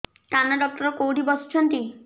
କାନ ଡକ୍ଟର କୋଉଠି ବସୁଛନ୍ତି